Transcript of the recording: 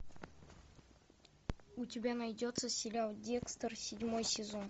у тебя найдется сериал декстер седьмой сезон